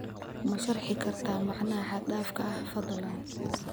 Ma sharxi kartaa macnaha xad dhaafka ah fadlan?